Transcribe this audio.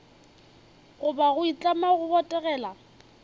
goba go itlama go botegela